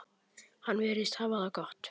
Hann virðist hafa það gott.